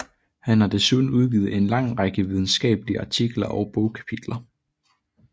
Han har desuden udgivet en lang række videnskabelige artikler og bogkapitler